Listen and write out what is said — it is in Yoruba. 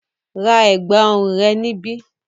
Ra ẹ̀gbọ̀n ọrùn rẹ níbí!